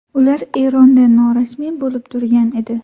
Ular Eronda norasmiy bo‘lib turgan edi.